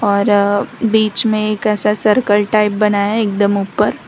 और बीच में एक ऐसा सर्कल टाइप बना है एकदम ऊपर।